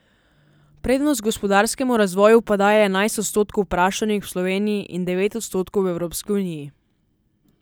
Prednost gospodarskemu razvoju pa daje enajst odstotkov vprašanih v Sloveniji in devet odstotkov v Evropski uniji.